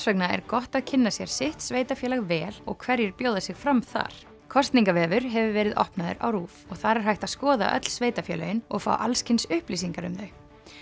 vegna er gott að kynna sér sitt sveitarfélag vel og hverjir bjóða sig fram þar kosningavefur hefur verið opnaður á RÚV og þar er hægt að skoða öll sveitarfélögin og fá alls kyns upplýsingar um þau